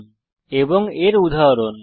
string এর কয়েকটি উদাহরণ